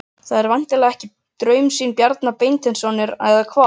Það er væntanlega ekki draumsýn Bjarna Beinteinssonar, eða hvað?